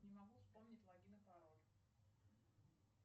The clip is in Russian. не могу вспомнить логин и пароль